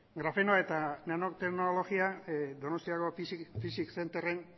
grafenoa eta nano teknologia donostiako physics centerren